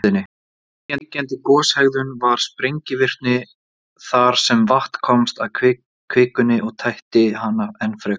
Ríkjandi goshegðun var sprengivirkni, þar sem vatn komst að kvikunni og tætti hana enn frekar.